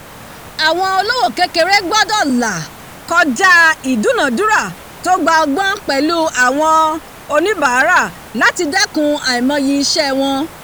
àwọn olówò kékeré gbọ́dọ̀ là kọjá ìdúnadúrà tó gba ọgbọ́n pẹ̀lú àwọn onibaara láti dẹkùn aimoyi iṣẹ́ wọn